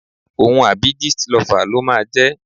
Òun àbí Jistlover ló máa jẹ́.